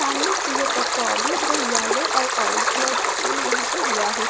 सामने फूलों का टब है जो येलो और ऑरेंज कलर का फूल यहां पे हुआ है।